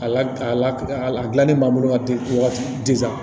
A la a la dilanni b'an bolo wagati